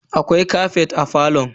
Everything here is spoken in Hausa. Akwai kafet a falon?